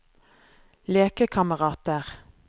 lekekamerater